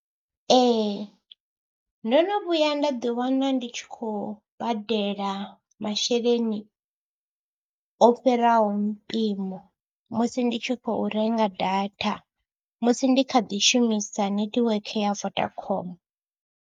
Ee ndo no vhuya nda ḓiwana ndi tshi khou badela masheleni o fhiraho mpimo musi ndi tshi khou renga data, musi ndi kha ḓi shumisa netiweke ya Vodacom.